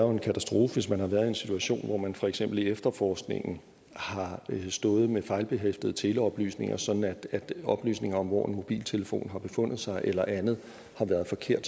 jo en katastrofe hvis man har været en situation hvor man for eksempel i efterforskningen har stået med fejlbehæftede teleoplysninger sådan at oplysninger om hvor en mobiltelefon har befundet sig eller andet har været forkerte